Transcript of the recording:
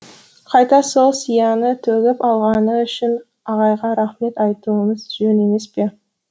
қайта сол сияны төгіп алғаны үшін ағайға рақмет айтуымыз жөн емес пе